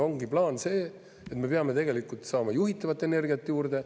Ongi plaan, see, et me peame saama juhitavat energiat juurde.